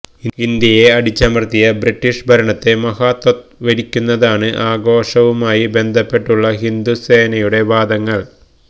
ഇന്ത്യയെ അടിച്ചമര്ത്തിയ ബ്രിട്ടീഷ് ഭരണത്തെ മഹത്വവത്കരിക്കുന്നതാണ് ആഘോഷവുമായി ബന്ധപ്പെട്ടുള്ള ഹിന്ദു സേനയുടെ വാദങ്ങള്